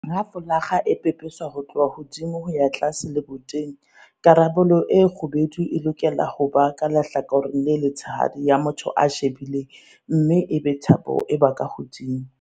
Ha folakga e pepeswa ho tloha hodimo ho ya tlase leboteng, karolo e kgubedu e lokela ho ba ka lehlakoreng le letshehadi la motho ya e shebileng mme ebe thapo e ba ka hodimo.